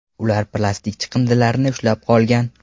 Ular plastik chiqindilarni ushlab qolgan.